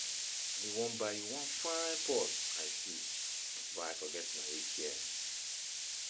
I bin wan buy You wan fine purse I see, but I forget my atm.